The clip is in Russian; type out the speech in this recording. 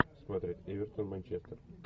смотреть эвертон манчестер